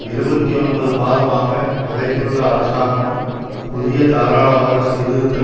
இருபத்தி ஒன்பது மாதமாக நிலைத்துள்ள அரசாங்கம் புதிய தாராளவாத சீர்திருத்த